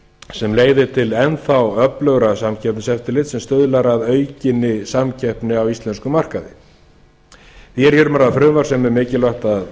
sem leiðir til enn þá öflugra samkeppniseftirlits sem stuðlar að aukinni samkeppni á íslenskum markaði því er hér um að ræða frumvarp sem er mikilvægt að